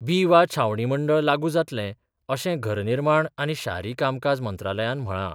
बी वा छावणी मंडळ लागू जातले, अशे घरनिर्माण आनी शारी कामकाज मंत्रालयान म्हळा.